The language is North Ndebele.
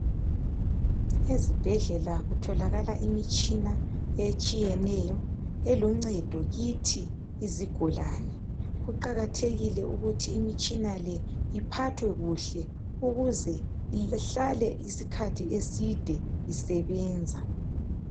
Ezibhedlela kutholakala imitshina etshiyeneyo eluncedo kithi izigulane. Kuqakathekile ukuthi imitshina le iphathwe kuhle ukuze ihlale isikhathi eside isebenza.